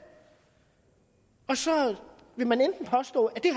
og så vil man påstå at det